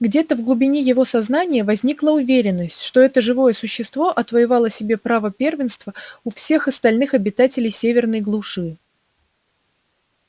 где-то в глубине его сознания возникла уверенность что это живое существо отвоевало себе право первенства у всех остальных обитателей северной глуши